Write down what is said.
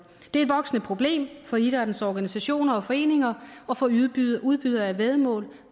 er et voksende problem for idrættens organisationer og foreninger at få udbydere af væddemål